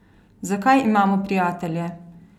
Zakaj imamo prijatelje?